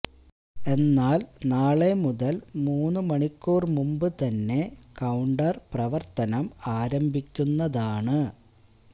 എന്നാല് നാളെ മുതല് മൂന്ന് മണിക്കൂര് മുമ്പ് തന്നെ കൌണ്ടര് പ്രവര്ത്തനം ആരംഭിക്കുന്നതാണ്